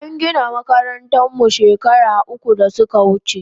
An gina makarantan mu shekaru uku da suka wuche